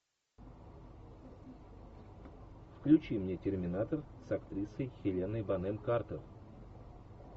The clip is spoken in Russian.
включи мне терминатор с актрисой хеленой бонем картер